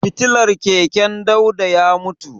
Fitilar keken Dauda ya mutu.